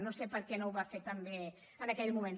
no sé per què no ho va fer també en aquell moment